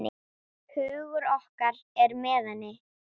Hugur okkar er með henni.